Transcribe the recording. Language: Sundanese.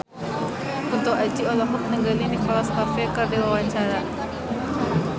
Kunto Aji olohok ningali Nicholas Cafe keur diwawancara